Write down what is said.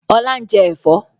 Ọlá ń jẹ́ Ẹ̀fọ́